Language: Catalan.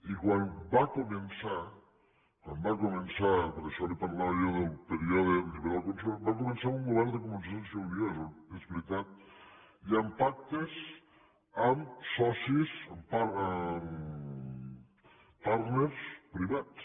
i quan va començar quan va començar per això li parlava del període lliberal conservador va començar amb un govern de convergència i unió és veritat i amb pactes amb socis amb partnersprivats